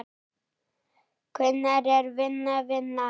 Hvenær er vinna vinna?